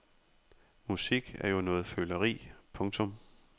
Musik er jo noget føleri. punktum